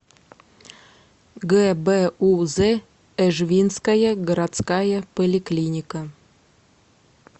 гбуз эжвинская городская поликлиника